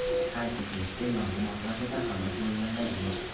Qayd etilishicha, yong‘in oqibatida halok bo‘lganlar yo‘q.